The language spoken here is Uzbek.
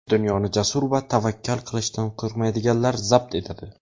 "Dunyoni jasur va tavakkal qilishdan qo‘rqmaydiganlar zabt etadi".